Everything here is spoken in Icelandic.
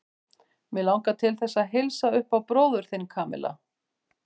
Mig langar til þess að heilsa upp á bróður þinn, Kamilla.